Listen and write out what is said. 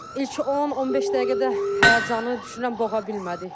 İlk 10-15 dəqiqədə həyəcanı düşünürəm boğa bilmədik.